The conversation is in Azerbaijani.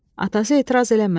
Atası etiraz eləmədi.